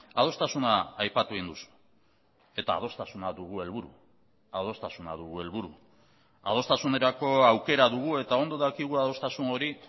adostasuna aipatu egin duzu eta adostasuna dugu helburu adostasuna dugu helburu adostasunerako aukera dugu eta ondo dakigu adostasun hori